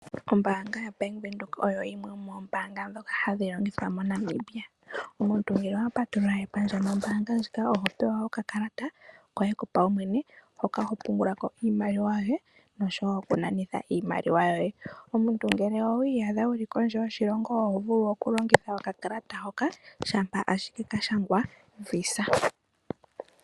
Ombaanga ya bank Windhoek oyo yimwe ndjoka yomoombaanga hadhi longithwa mo Namibia. Omuntu ngele owa patulula epandja nombaanga ndjika oho pewa oka kalata hoka hoka kopaumwene ho vulu okupungula ko iimaliwa yoye. Ngele owiiyadha uli kondje yoshilongo oho vulu okulongitha okakalata hoka, shampa ashike ka shangwa visa.